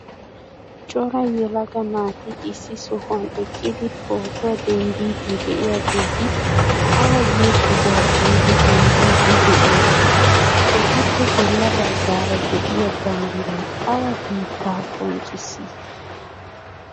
Cora yelaga naati issi sohuwaan eqqidi pootuwaa denddiidi de'iyaageti awa giyoo sohuwaa biidi denddiidi de'iyoonaa? etappe bolla baggaara de'iyaa banddiray awa biittaa qonccisii?